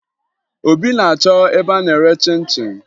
Obi na-achọ ebe a na-ere chịn chịn